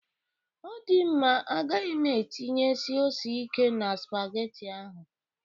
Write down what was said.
Ọ dị mma, agaghị m etịnyesi ose ikè na spagetị ahụ